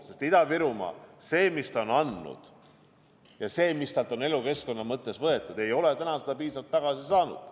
Sest Ida-Virumaa – see, mida ta on andnud, ja see, mida sealt on elukeskkonna mõttes võetud – ei ole täna piisavalt tagasi saanud.